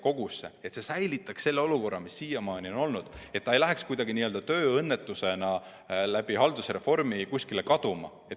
See eelnõu säilitaks selle olukorra, mis siiamaani on olnud, nii et see ei läheks kuidagi n-ö tööõnnetusena haldusreformi tõttu kuskile kaduma.